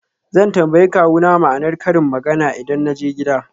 Zan tambayi kawuna ma'anar karin magana idan na je gida.